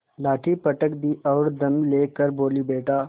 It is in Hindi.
लाठी पटक दी और दम ले कर बोलीबेटा